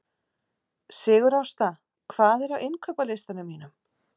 Sigurásta, hvað er á innkaupalistanum mínum?